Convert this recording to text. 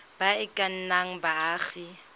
ba e ka nnang baagi